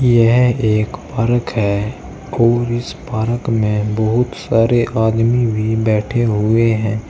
यह एक पार्क है और इस पार्क में बहुत सारे आदमी भी बैठे हुए हैं।